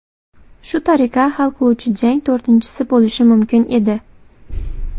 Shu tariqa hal qiluvchi jang to‘rtinchisi bo‘lishi mumkin edi.